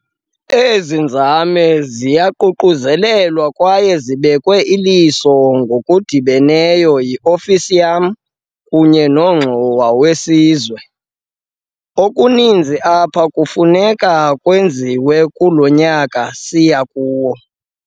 Ezi nzame ziyaququzelelwa kwaye zibekwe iliso ngokudibeneyo yi-ofisi yam kunye noNongxowa weSizwe. Okuninzi apha kufuneka kwenziwe kulo nyaka siya kuwo.